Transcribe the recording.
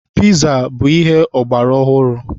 Piza bụ ihe ọgbara ọhụrụ.